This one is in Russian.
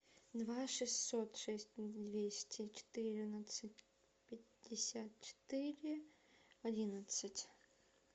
два шестьсот шесть двести четырнадцать пятьдесят четыре одиннадцать